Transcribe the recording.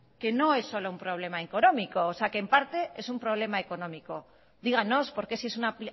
que no es solo un problema económico o sea que en parte es un problema económico díganos por qué si es una